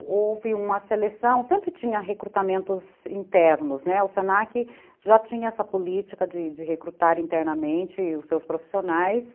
Houve uma seleção, sempre tinha recrutamentos internos, né, o se na que já tinha essa política de recrutar internamente os seus profissionais.